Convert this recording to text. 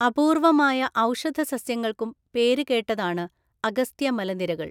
അപൂർവമായ ഔഷധസസ്യങ്ങൾക്കും പേരുകേട്ടതാണ് അഗസ്ത്യ മലനിരകൾ.